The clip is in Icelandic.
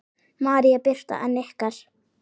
María Birta en ykkar?